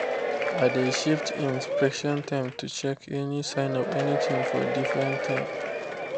i dey shift inspection time to check any sign of anything for different time